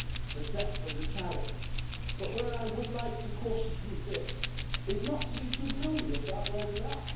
the depth of the challenge, but where I would like to caution you a bit is not to be too gloomy about where we are.